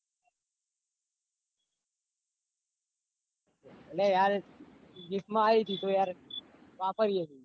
અલ્યા યાર gift માં આઈ તી તો યાર વાપરીએ હીએ.